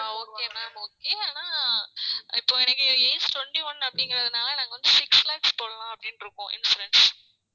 ஆஹ் okay ma'am okay ஆனா இப்போ எனக்கு age twenty one அப்படிங்கிறதுனால நாங்க வந்து six lakhs போடலாம் அப்படின்னு இருக்கோம் insurance